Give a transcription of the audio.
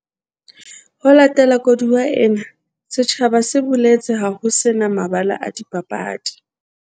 Ho latela koduwa ena, setjhaba se boletse ha ho se na mabala a dipapadi